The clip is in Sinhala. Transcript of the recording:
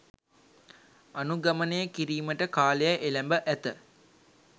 අනුගමනය කිරීමට කාලය එළැඹ ඇත